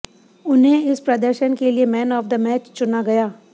उन्हें इस प्रदर्शन के लिए मैन आफ द मैच चुना गया